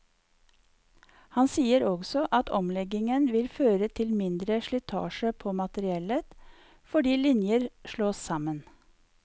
Han sier også at omleggingen vil føre til mindre slitasje på materiellet, fordi linjer slås sammen.